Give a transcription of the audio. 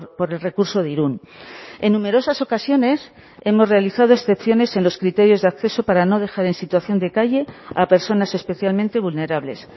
por el recurso de irun en numerosas ocasiones hemos realizado excepciones en los criterios de acceso para no dejar en situación de calle a personas especialmente vulnerables